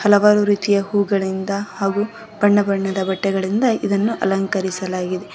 ಹಲವಾರು ರೀತಿಯ ಹೂಗಳಿಂದ ಹಾಗು ಬಣ್ಣ ಬಣ್ಣದ ಬಟ್ಟೆಗಳಿಂದ ಇದನ್ನು ಅಲಂಕರಿಸಲಾಗಿದೆ.